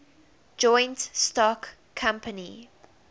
joint stock company